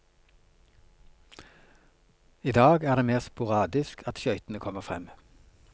I dag er det mer sporadisk at skøytene kommer frem.